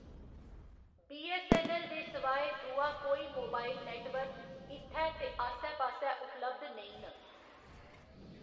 BSNL दे स्वाय दूआ कोई मोबाइल नेटवर्क इत्थै ते आस्सै पास्सै उपलब्ध नेईं न।